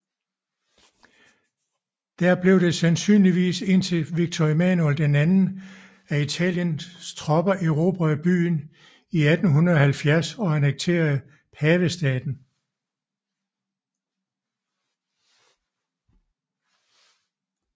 Dér blev det sandsynligvis indtil Victor Emmanuel II af Italiens tropper erobrede byen i 1870 og annekterede Pavestaten